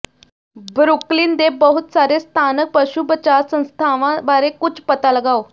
Brooklyn ਦੇ ਬਹੁਤ ਸਾਰੇ ਸਥਾਨਕ ਪਸ਼ੂ ਬਚਾਅ ਸੰਸਥਾਵਾਂ ਬਾਰੇ ਕੁਝ ਪਤਾ ਲਗਾਓ